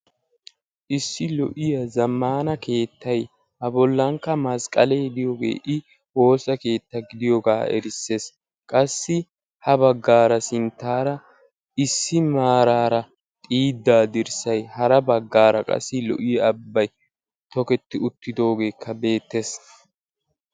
Issi lo'iya zamaana keettay a bollan masaqqale de'iyooge i woosa keetta gidiyooga erisees. qassi ha baggaara sinttara issi maraara xiida dirssay hara baggara qassi lo''iya ababbay tokketi uttidigoogekka beettees.